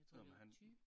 Nåh men han